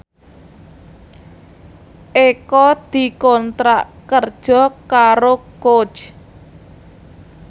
Eko dikontrak kerja karo Coach